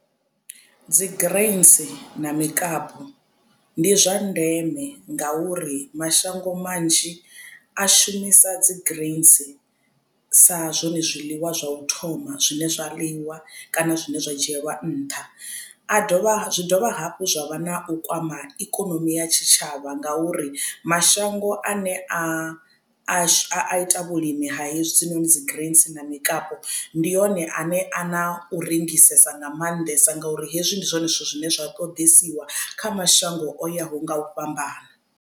Dzi greens na mikapu ndi zwa ndeme ngauri mashango manzhi a shumisa dzi greens sa zwone zwiḽiwa zwa u thoma zwine zwa ḽiwa kana zwine zwa dzhielwa nṱha. A dovha zwi dovha hafhu zwa vha na u kwama ikonomi ya tshitshavha ngauri mashango ane a a ita vhulimi ha hezwinoni dzi greens na mikapu ndi one ane a na u rengisesa nga maanḓesa nga uri hezwi ndi zwone zwithu zwine zwa ṱoḓesiwa kha mashango o yaho nga u fhambana.